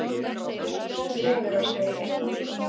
Laugarásvegi